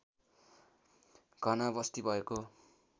घना वस्ती भएको